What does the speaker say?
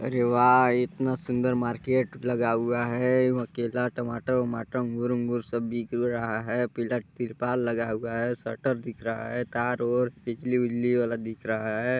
अरे वाह इतना सुंदर मार्केट लगा हुआ है केला टमाटर -वमाटर अंगूर -उगूर सब बिक ओ रहा है पीला तिरपाल लगा हुआ है शटर दिख रहा है तार ओर बिजली विजली वाला दिख रहा है।